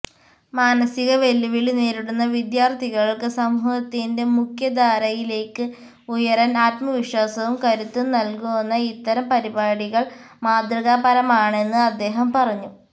മാനസിക വെല്ലുവിളി നേരിടുന്ന വിദ്യാർഥികൾക്ക് സമൂഹത്തിന്റെ മുഖ്യധാരയിലേക്ക് ഉയരാൻ ആത്മവിശ്വാസവും കരുത്തും നൽകുന്ന ഇത്തരം പരിപാടികൾ മാതൃകാപരമാണെന്ന് അദ്ദേഹം പറഞ്ഞു